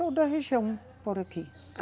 Toda a região por aqui.